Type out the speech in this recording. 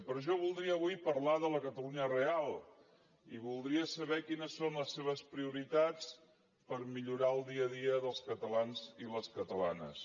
però jo voldria avui parlar de la catalunya real i voldria saber quines són les seves prioritats per millorar el dia a dia dels catalans i les catalanes